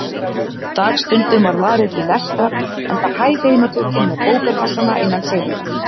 Dagstundum var varið til lestrar, enda hæg heimatökin með bókakassana innan seilingar.